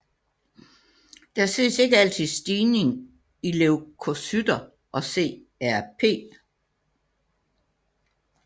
Der ses ikke altid stigning i leukocytter og CRP